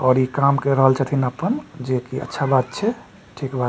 और इ काम कर रहल छतिन अपन जे के अच्छा बात छे ठीक बात।